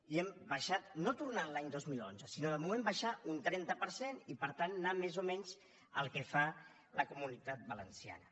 i hem abaixat no tornant a l’any dos mil onze sinó de moment abaixar un trenta per cent i per tant anar més o menys al que fa la comunitat valenciana